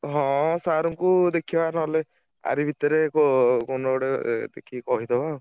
ହଁ sir ଙ୍କୁ ଦେଖିବା ନହେଲେ ଆରି ଭିତରେ ~କୋ କୋଉଦିନ ଗୋଟେ ଏ ଦେଖିକି କହିଦବା ଆଉ।